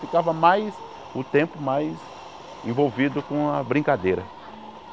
Ficava mais o tempo mais envolvido com a brincadeira.